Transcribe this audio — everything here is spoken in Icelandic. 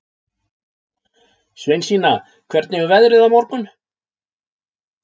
Sveinsína, hvernig er veðrið á morgun?